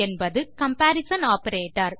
என்பது comparison operator